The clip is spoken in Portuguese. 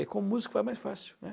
E com música vai mais fácil, né?